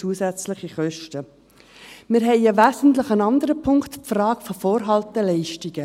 Wir haben einen wesentlichen anderen Punkt, die Frage der Vorhalteleistungen.